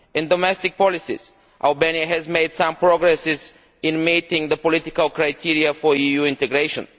In domestic policies Albania has made some progress in meeting the political criteria for EU integration.